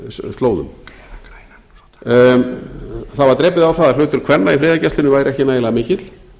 slóðum það var drepið á það að hlutur kvenna í friðargæslunni væri ekki nægilega mikill